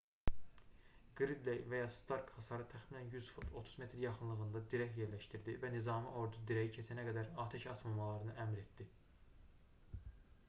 qridley və ya stark hasarın təxminən 100 fut 30 m yaxınlığında dirək yerləşdirdi və nizami ordu dirəyi keçənə qədər atəş açmamalarını əmr etdi